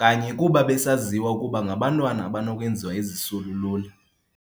kanye kuba besaziwa ukuba ngabantwana abanokwenziwa izisulu lula.